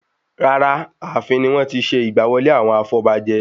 Rara, Ààfin ni wọ́n tí n ṣe ìgbà wọlé àwọn afọbajẹ